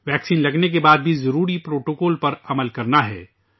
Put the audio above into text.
vaccine لگنے کے بعد بھی ضروری پروٹوکول پر عمل کرنا ہے